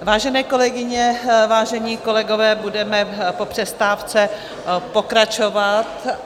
Vážené kolegyně, vážení kolegové, budeme po přestávce pokračovat.